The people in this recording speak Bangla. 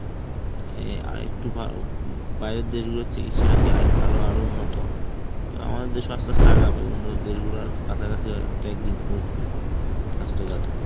অ্যাঁ আরেকটু বাইরের দেশগুলোর চিকিৎসা নাকি আরো~ আরো উন্নত. তো আমাদের দেশে আস্তে আস্তে আগাবে উন্নত দেশগুলার কাছাকাছি হয় হয়তো একদিন পৌছাবে স্বাস্থ্য খাতে.